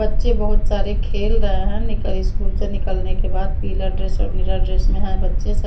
बच्चे बहुत सारे खेल रहे हैं निकल स्कूल से निकलने के बाद पीला ड्रेस और नीला ड्रेस में है बच्चे सब --